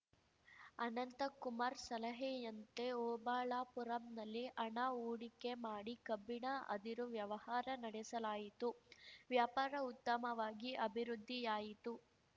ಅನಂತಕುಮಾರ್ ಸಲಹೆಯಂತೆ ಓಬಳಾಪುರಂನಲ್ಲಿ ಹಣ ಹೂಡಿಕೆ ಮಾಡಿ ಕಬ್ಬಿಣ ಅದಿರು ವ್ಯವಹಾರ ನಡೆಸಲಾಯಿತು ವ್ಯಾಪಾರ ಉತ್ತಮವಾಗಿ ಅಭಿವೃದ್ಧಿಯಾಯಿತು